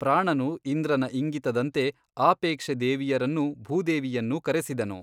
ಪ್ರಾಣನು ಇಂದ್ರನ ಇಂಗಿತದಂತೆ ಆಪೆಕ್ಷೆ ದೇವಿಯರನ್ನೂ, ಭೂದೇವಿಯನ್ನೂ ಕರೆಸಿದನು.